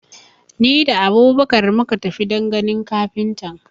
Ni da Abubakar muka tafi don ganin kafintan.